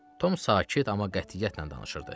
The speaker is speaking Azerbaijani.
Tom sakit, amma qətiyyətlə danışırdı.